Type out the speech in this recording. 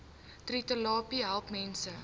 trvterapie help mense